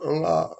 An ga